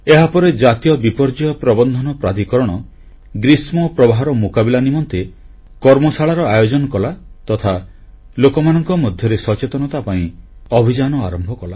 ଏହାପରେ ଜାତୀୟ ବିପର୍ଯ୍ୟୟ ପ୍ରବନ୍ଧନ ପ୍ରାଧିକରଣ ଗ୍ରୀଷ୍ମପ୍ରବାହର ମୁକାବିଲା ନିମନ୍ତେ କର୍ମଶାଳାର ଆୟୋଜନ କଲା ତଥା ଲୋକମାନଙ୍କ ମଧ୍ୟରେ ସଚେତନତା ପାଇଁ ଅଭିଯାନ ଆରମ୍ଭ କଲା